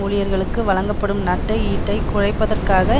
ஊழியர்களுக்கு வழங்கப்படும் நட்டஈட்டை குறைப்பதற்காக